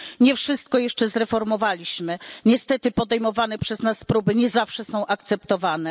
Nie wszystko jeszcze zreformowaliśmy, niestety podejmowane przez nas próby nie zawsze są akceptowane.